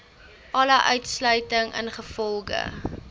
alle uitsluiting ingevolge